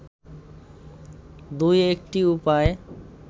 দুই একটি উপায়